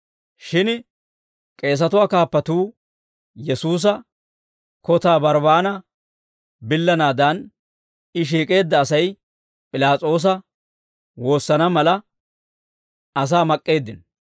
Shin k'eesatuwaa kaappatuu Yesuusa kotaa Barbbaana billanaadan, he shiik'eedda Asay P'ilaas'oosa woosana mala, asaa mak'k'eeddino.